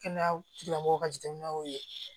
Kɛnɛya tigilamɔgɔw ka jateminɛ y'o ye